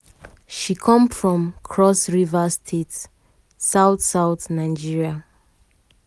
she come from cross-river state south-south nigeria.